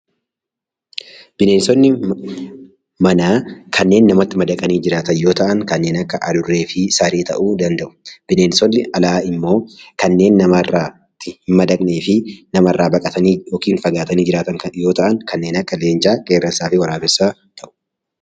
Bineensonni manaa kanneen namatti madaqanii jiraatan yoo ta'an kanneen akka adurree fi saree ta'uu danda'u. Bineensonni alaa immoo kanneen namatti hin madaqnee fi kan namarraa fagaatanii argaman yoo ta'an kanneen akka leencaa, qeerransaa fi waraabessaa fa'i.